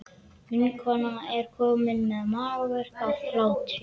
Vinkonan er komin með magaverk af hlátri.